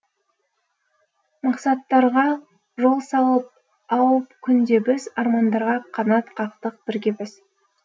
мақсаттарға жол салып ау күнде біз армандарға қанат қақтық бірге біз